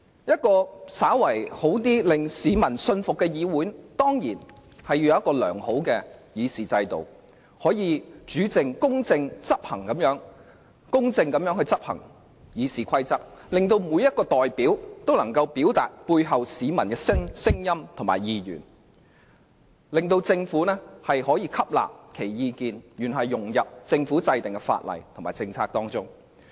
一個較好、令市民信服的議會，必須有良好的議事制度，確保《議事規則》得以公正地執行，每位議員都能夠表達其代表的市民的聲音和意願，從而讓政府吸納其意見，融入法例和政策中。